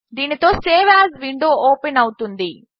దీనితో save as window open అవుతుంది